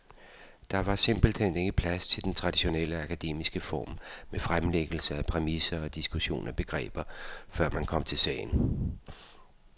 Der var simpelt hen ikke plads til den traditionelle akademiske form med fremlæggelse af præmisser og diskussion af begreber, før man kom til sagen.